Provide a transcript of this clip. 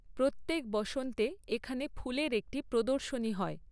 প্রত্যেক বসন্তে এখানে ফুলের একটি প্রদর্শনী হয়।